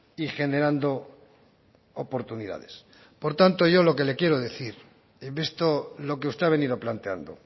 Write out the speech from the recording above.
y generando oportunidades por tanto yo lo que le quiero decir en esto lo que usted ha venido planteando